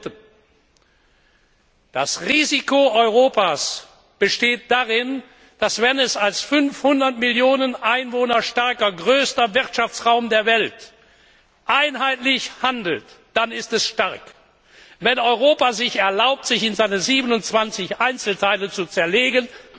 Drittens Das Risiko Europas besteht darin, dass es, wenn es als 500 Millionen Einwohner starker größter Wirtschaftsraum der Welt einheitlich handelt, zwar stark ist, wenn es sich aber erlaubt, sich in seine 27 Einzelteile zu zerlegen,